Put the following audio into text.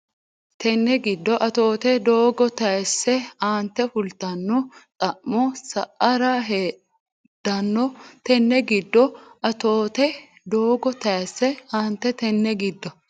Tenne giddo Atoote doogo tayisse aante fultanno xa mo sa ara heddanno Tenne giddo Atoote doogo tayisse aante Tenne giddo.